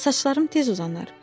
Saçlarım tez uzanar.